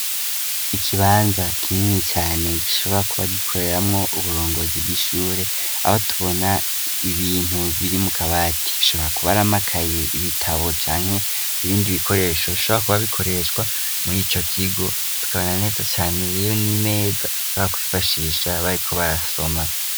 Ikibanza kinini cane gishobora kuba gikoreramwo uburongozi bw'ishure aho tubona ibintu biri mukabati bishobora kuba aramakaye, ibitabo canke ibindi bikoresho bishobora kuba bikoreshwa murico kigo tukabona neza cane n'imeza bashobora kw'ifashisha bariko barasoma.